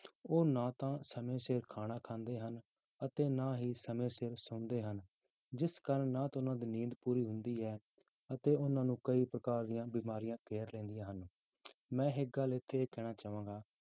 ਉਹ ਨਾ ਤਾਂ ਸਮੇਂ ਸਿਰ ਖਾਣਾ ਖਾਂਦੇ ਹਨ, ਅਤੇ ਨਾ ਹੀ ਸਮੇਂ ਸਿਰ ਸੌਂਦੇ ਹਨ, ਜਿਸ ਕਾਰਨ ਨਾ ਤਾਂ ਉਹਨਾਂ ਦੀ ਨੀਂਦ ਪੂਰੀ ਹੁੰਦੀ ਹੈ ਅਤੇ ਉਹਨਾਂ ਨੂੰ ਕਈ ਪ੍ਰਕਾਰ ਦੀਆਂ ਬਿਮਾਰੀਆਂ ਘੇਰ ਲੈਂਦੀਆਂ ਹਨ, ਮੈਂ ਇੱਕ ਗੱਲ ਇੱਥੇ ਇਹ ਕਹਿਣਾ ਚਾਹਾਂਗਾ